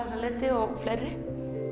þessa liti og fleiri